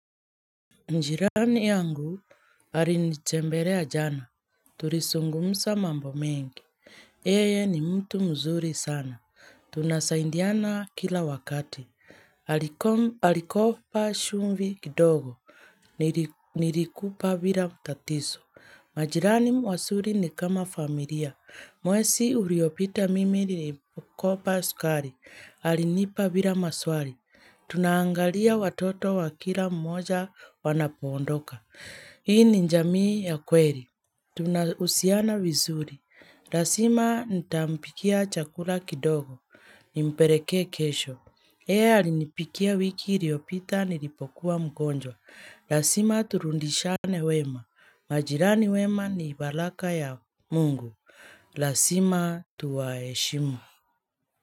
Njirani yangu arinitemberea jana, turisungumsa mambo mengi, yeye ni mtu mzuri sana, tunasaindiana kila wakati Alikopa shumvi kidogo, nilikupa bila mtatiso majirani wasuri ni kama familia, mwesi uriopita mimi nirimkopa sukari, arinipa bila maswari Tunaangalia watoto wa kila mmoja wanapoondoka. Hii ni njamii ya kweri. Tunahusiana vizuri. Lasima nitampikia chakula kidogo. Nimperekee kesho. Yeye arinipikia wiki uriopita nilipokuwa mgonjwa. Lasima turundishane wema. Majirani wema ni balaka ya mungu. Lasima tuwaheshimu.